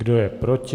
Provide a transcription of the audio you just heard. Kdo je proti?